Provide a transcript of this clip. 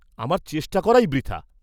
আমার চেষ্টা করাই বৃথা।